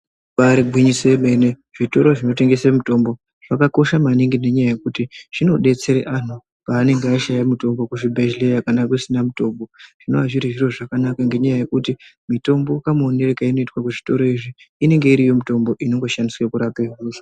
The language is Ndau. Ribaari gwinyiso remene zvitoro zvinotengesa mitombo zvakakosha maningi nenyaya yekuti zvinodetsera antu pavanenge vatama mitombo kuzvibhendleya kana kusina mitombo. Zvinenge zviri zviro zvakanaka ngenyaya yekuti mitombo kamuonero kaunoitwa muzvitoro izvi inenge iriyo mitombo inongoshandiswa kurapa hosha.